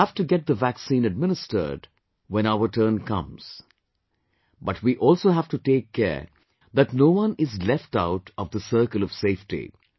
We have to get the vaccine administered when our turn comes, but we also have to take care that no one is left out of this circle of safety